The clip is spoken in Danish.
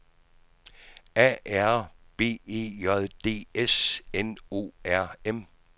A R B E J D S N O R M